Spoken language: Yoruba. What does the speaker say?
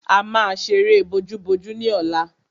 A máa ṣeré bojúbojú ní ọ̀la.